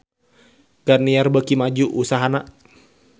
Garnier beuki maju usahana